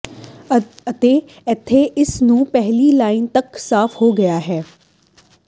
ਅਤੇ ਇੱਥੇ ਇਸ ਨੂੰ ਪਹਿਲੀ ਲਾਈਨ ਤੱਕ ਸਾਫ ਹੋ ਗਿਆ ਹੈ